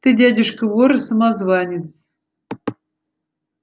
ты дядюшка вор и самозванец